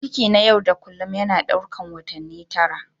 Ciki na yau da kullun yana ɗaukar watanni tara.